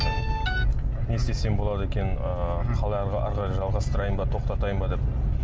не істесем болады екен ыыы қалай әрі қарай жалғастырайын ба тоқтатайын ба деп